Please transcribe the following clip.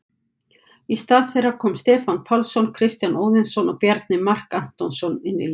Í stað þeirra koma Stefán Pálsson, Kristján Óðinsson og Bjarni Mark Antonsson inn í liðið.